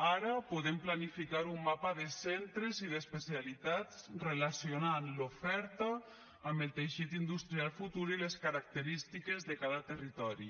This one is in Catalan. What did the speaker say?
ara podem planificar un mapa de centres i d’especialitats relacionant l’oferta amb el teixit industrial futur i les característiques de cada territori